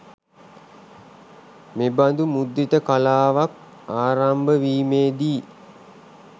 මෙබඳු මුද්‍රිත කලාවක් ආරම්භවීමේදී